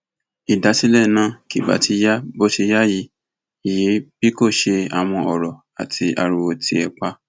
ìdásílẹ náà kì bá ti ya bó ṣe yá yìí yìí bí kò ṣe àwọn ọrọ àti ariwo tì ẹ pa